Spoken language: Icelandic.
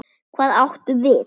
Hvað átum við?